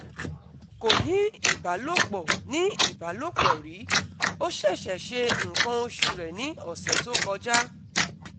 Kò ní ìbálòpọ̀ ní ìbálòpọ̀ rí, ó ṣẹ̀ṣẹ̀ ṣe nǹkan oṣù rẹ̀ ní ọ̀sẹ̀ tó kọjá